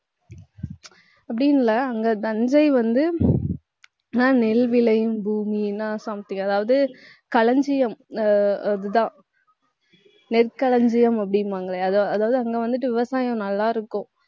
அப்படின்னு இல்ல, அங்க தஞ்சை வந்து நெல் விளையும் பூமின்னா something அதாவது, களஞ்சியம் ஆஹ் இதுதான் நெற்களஞ்சியம் அப்படிம்பாங்களே, அதா~ அதாவது அங்க வந்துட்டு விவசாயம் நல்லாருக்கும்